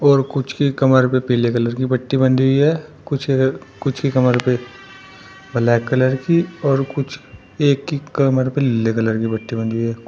और कुछ की कमर पे पीले कलर की पट्टी बंधी हुई है। कुछ अ कुछ कमर पे ब्लैक कलर की और कुछ एक की कमर पे लीले कलर की पट्टी बंधी है।